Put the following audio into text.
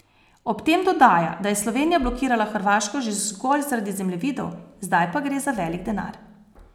Ob tem dodaja, da je Slovenija blokirala Hrvaško že zgolj zaradi zemljevidov, zdaj pa gre za velik denar.